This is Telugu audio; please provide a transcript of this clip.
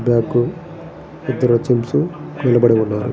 బ్యాగ్ ఇద్దరు జెంట్స్ నిలబడి ఉన్నారు.